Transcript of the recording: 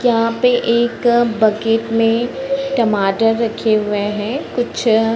यहाँ पे एक अ बकेट में टमाटर रखे हुए हैं कुछ अ --